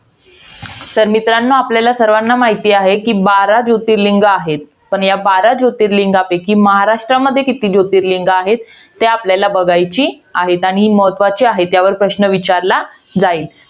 तर मित्रांनो, आपल्या सर्वांना माहित आहे, कि बारा जोतिर्लिंग आहेत. पण या बारा जोतिर्लिंगांपैकी महाराष्ट्रामध्ये किती जोतिर्लिंग आहेत? ते आपल्याला बघायची आहेत. आणि ही महत्वाची आहेत. यावर प्रश्न विचारला जाईल.